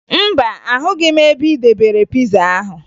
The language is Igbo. Mba, ahụghị m ebe ị debere piza ahụ